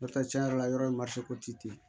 N'o tɛ cɛn yɛrɛ la yɔrɔ ye ten